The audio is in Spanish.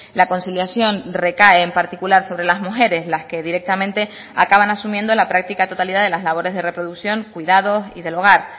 la conciliación recae en particular sobre las mujeres las que directamente acaban asumiendo la práctica totalidad de las labores de reproducción cuidados y del hogar